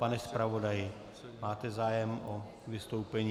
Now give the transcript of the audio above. Pane zpravodaji, máte zájem o vystoupení?